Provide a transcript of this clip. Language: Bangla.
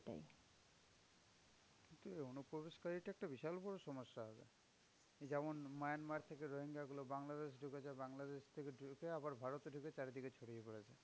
অনুপ্রবেশকারীটা একটা বিশাল বড় সমস্যা। যেমন মায়ানমার থেকে রোহিঙ্গ্যা গুলো বাংলাদেশ ঢুকেছে, বাংলাদেশ থেকে ঢুকে আবার ভারতে ঢুকে চারিদিকে ছড়িয়ে পড়েছে।